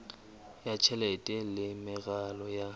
ya tjhelete le meralo ya